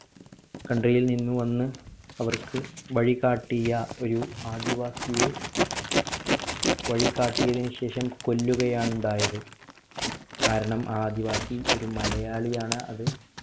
കടയിൽ നിന്ന് വന്ന് അവർക്ക് വഴികാട്ടിയ ഒരു ആദിവാസിയെ വഴി കാട്ടിയതിന് ശേഷം കൊല്ലുകയാണ് ഉണ്ടായത് കാരണം ആദിവാസി ഒരു മലയാളി ആണ്‌ അത്